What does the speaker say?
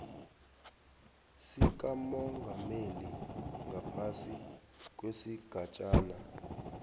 sikamongameli ngaphasi kwesigatjana